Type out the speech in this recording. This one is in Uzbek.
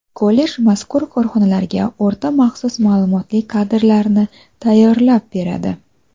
Kollej mazkur korxonalarga o‘rta maxsus ma’lumotli kadrlarni tayyorlab beradi.